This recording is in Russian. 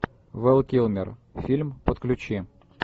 вэл килмер фильм подключи